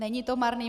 Není to marný.